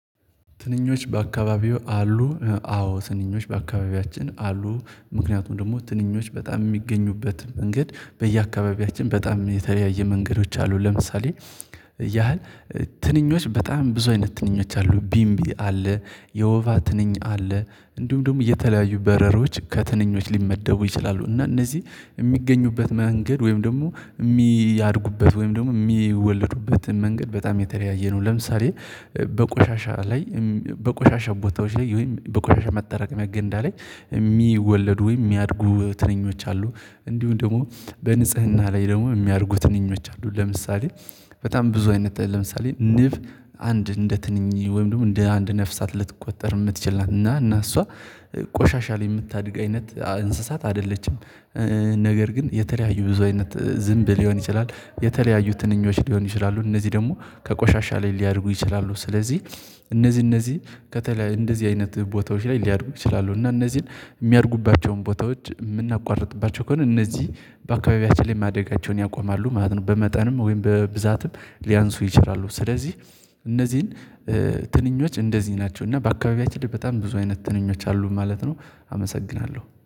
ትንኞች በአካባቢዎ አሉ? አዎ፤ ትንኞች በአካባቢያችን አሉ ምክንያቱም ደግሞ ትንኞች በጣም የሚገኙበት መንገድ በየአካባቢያችን በጣም የተለያየ መንገዶች አሉ ለምሳሌ ያህል ትንኞች፤ በጣም ብዙ አይነት ትንኞች አሉ፤ ቢምቢ አለ፤ የወባ ትንኝ አለ፤ እንዲሁም ደግሞ የተለያዩ በረሮች ከትንኞች ሊመደቡ ይችላሉ እና እነዚህ የሚገኙበት መንገድ ወይም ደግሞ የሚያድጉበት ወይም ደግሞ የሚወለዱበትን መንገድ በጣም የተለያየ ነው፤ ለምሳሌ በቆሻሻ ላይ፤ በቆሻሻ ቦታዎች ላይ፤ ወይም በቆሻሻ ማጠራቀሚያ ገንዳ ላይ የሚወለዱ ወይም የሚያድጉ ትንኞች አሉ፤ እንዲሁ ደግሞ በንጽህና ላይ ደግሞ የሚያርጉ ትንኞች አሉ። ለምሳሌ፤ በጣም ብዙ አይነት፤ ለምሳሌ ንብ አንድ እንደ ትንኝ ወይም ደግሞ እንደ አንድ ነፍሳት ልትቆጠር የምትችል ናት እና እና እሷ ቆሻሻ ላይ የምታድግ አይነት እንስሳት አይደለችም ነገር ግን የተለያዩ ብዙ አይነት ዝንብ ሊሆን ይችላል፤ የተለያዩ ትንኞች ሊሆኑ ይችላሉ፤ እነዚህ ደግሞ ከቆሻሻ ላይ ሊያደርጉ ይችላሉ፤ ስለዚህ እነዚህ እነዚህ ከተለያዩ እንደዚህ አይነት ቦታዎች ላይ ሊያድጉ ይችላሉ እና እነዚህን የሚያድጉባቸውን ቦታዎች የምናቋርጥባቸው ከሆነ እነዚህ በአካባቢያችን ላይ ማደጋቸውን ያቆማሉ ማለት ነው በመጠንም ወይም በብዛትም ሊያንሱ ይችላሉ፤ ስለዚህ እነዚህን ትንኞች እንደዚህ ናቸው እና በአካባቢያችን ላይ በጣም ብዙ አይነት ትንኞች አሉ ማለት ነው፤ አመሰግናለሁ።